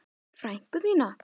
Frænku þína?